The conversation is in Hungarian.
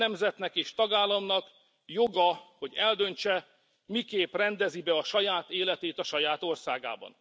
Minden nemzetnek és tagállamnak joga, hogy eldöntse, miképp rendezi be a saját életét a saját országában.